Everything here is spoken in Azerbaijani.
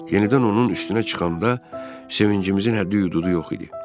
Yenidən onun üstünə çıxanda sevincimizin həddi-hüdudu yox idi.